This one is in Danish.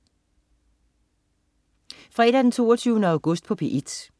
Fredag den 22. august - P1: